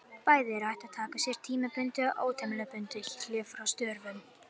Bæði er hægt að taka sér tímabundið og ótímabundið hlé frá störfum.